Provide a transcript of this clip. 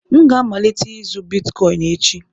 M ga-amalite ịzụ Bitkọịn echi